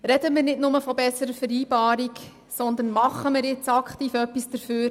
Sprechen wir nicht nur von besserer Vereinbarung, sondern tun wir aktiv et- was dafür.